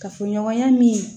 Kafoɲɔgɔnya min